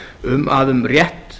um að um rétt